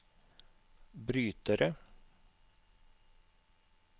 brytere